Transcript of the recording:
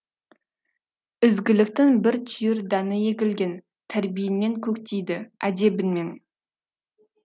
ізгіліктің бір түйір дәні егілген тәрбиеңмен көктейді әдебіңмен